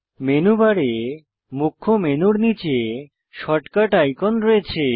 menu বারে মুখ্য মেনুর নীচে শর্টকাট আইকন রয়েছে